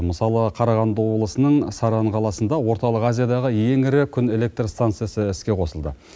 мысалы қарағанды облысының саран қаласында орталық азиядағы ең ірі күн электр станциясы іске қосылды